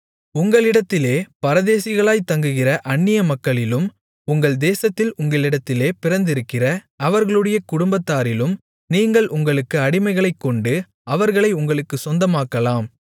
உங்களிடத்திலே பரதேசிகளாய்த் தங்குகிற அந்நிய மக்களிலும் உங்கள் தேசத்தில் உங்களிடத்திலே பிறந்திருக்கிற அவர்களுடைய குடும்பத்தாரிலும் நீங்கள் உங்களுக்கு அடிமைகளைக்கொண்டு அவர்களை உங்களுக்குச் சொந்தமாக்கலாம்